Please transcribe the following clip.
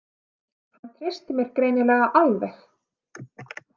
Hann treysti mér greinilega alveg.